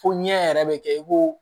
Fo ɲɛ yɛrɛ bɛ kɛ i b'o